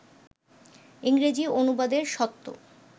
ইংরেজি অনুবাদের স্বত্ব